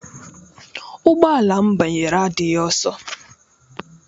Ụgbọ ala m banyere adịghị ọsọ.